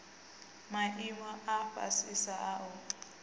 maimo a fhasisa a u